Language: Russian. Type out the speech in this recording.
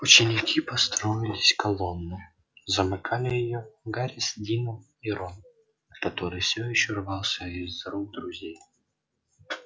ученики построились колонной замыкали её гарри с дином и рон который все ещё рвался из рук друзей